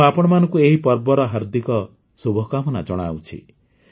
ମୁଁ ଆପଣମାନଙ୍କୁ ଏହି ପର୍ବର ହାର୍ଦ୍ଦିକ ଶୁଭକାମନା ଜଣାଉଛି